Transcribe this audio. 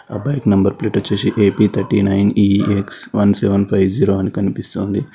ఆ bike number plate వచ్చేసి A P thirty nine E X one seven five zero అని కనిపిస్తోంది.